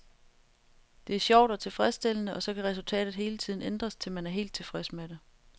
Det er sjovt og tilfredsstillende, og så kan resultatet hele tiden ændres, til man er helt tilfreds med det.